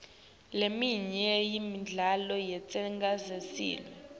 leminye imidlalo yetentsengiselwano